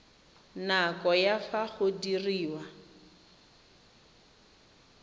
nako ya fa go diriwa